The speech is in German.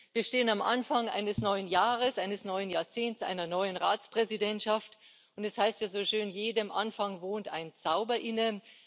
Wir stehen am Anfang eines neuen Jahres, eines neuen Jahrzehnts, eines neuen Ratsvorsitzes. Es heißt ja so schön Jedem Anfang wohnt ein Zauber inne.